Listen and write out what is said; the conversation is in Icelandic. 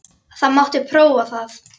Það mátti prófa það.